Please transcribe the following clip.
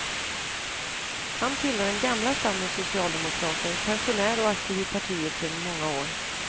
Han tillhör den gamla stammens socialdemokrater, pensionär och aktiv i partiet sedan många år.